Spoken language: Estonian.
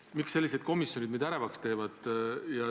Mind teevad sellised komisjonid ärevaks.